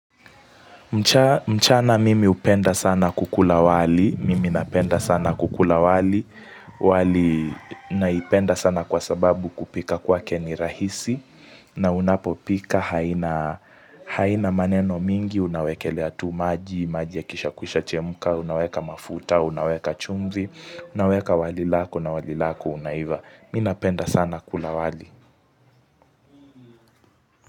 Mchana mimi upenda sana kukula wali, mimi napenda sana kukula wali, wali naipenda sana kwa sababu kupika kwake ni rahisi na unapopika haina maneno mingi, unawekelea tu maji, maji ya kisha kwisha chemuka, unaweka mafuta, unaweka chumvi, unaweka wali lako na wali lako unaiva. Mimi napenda sana kukula wali.